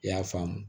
I y'a faamu